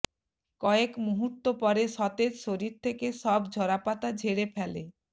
কয়েক মুহূর্ত পরে সতেজ শরীর থেকে সব ঝরাপাতা ঝেড়ে ফেলে